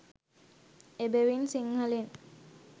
එබැවින් සිංහලෙන්